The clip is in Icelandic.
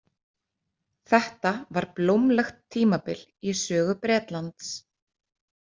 Þetta var blómlegt tímabil í sögu Bretlands.